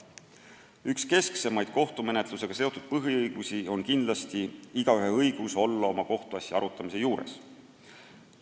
Üks keskseid kohtumenetlusega seotud põhiõigusi on kindlasti igaühe õigus olla oma kohtuasja arutamise juures.